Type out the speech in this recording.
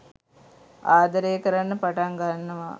ආදරය කරන්න පටන් ගන්නවා